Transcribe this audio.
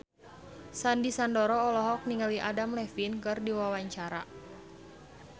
Sandy Sandoro olohok ningali Adam Levine keur diwawancara